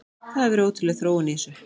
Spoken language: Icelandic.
Það hefur verið ótrúleg þróun í þessu.